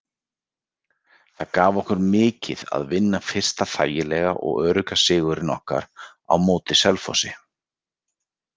Það gaf okkur mikið að vinna fyrsta þægilega og örugga sigurinn okkar á móti Selfossi.